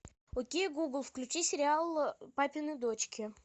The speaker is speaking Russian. окей гугл включи сериал папины дочки